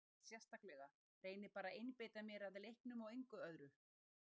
Nei ekkert sérstaklega, reyni bara að einbeita mér að leiknum og engu öðru.